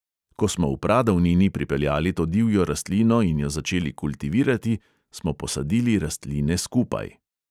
Ko smo v pradavnini pripeljali to divjo rastlino in jo začeli kultivirati, smo posadili rastline skupaj.